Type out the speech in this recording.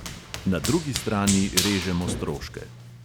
Na drugi strani režemo stroške.